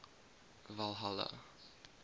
valhalla